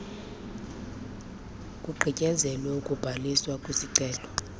kugqityezelwe ukubhaliswa kwesicelo